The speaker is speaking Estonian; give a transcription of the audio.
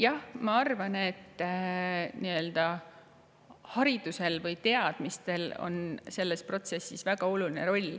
Jah, ma arvan, et haridusel või teadmistel on selles protsessis väga oluline roll.